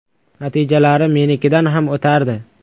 Natijalari menikidan ham o‘tardi.